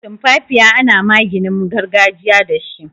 Tumfafiya ana maginin gargajiya dashi.